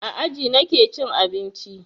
A aji nake cin abinci.